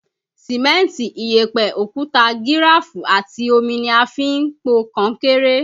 Sìmẹ́ntì, ìyẹ̀pẹ̀, òkúta gíráfù àti omi ni a fi ń po kankéré.